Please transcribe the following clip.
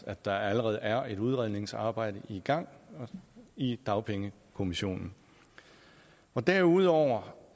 at der allerede er et udredningsarbejde i gang i dagpengekommissionen derudover